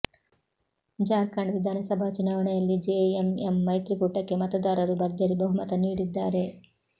ಜಾರ್ಖಂಡ್ ವಿಧಾನಸಭಾ ಚುನಾವಣೆಯಲ್ಲಿ ಜೆಎಂಎಂ ಮೈತ್ರಿಕೂಟಕ್ಕೆ ಮತದಾರರು ಭರ್ಜರಿ ಬಹುಮತ ನೀಡಿದ್ದಾರೆ